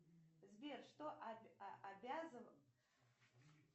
сбер что обязан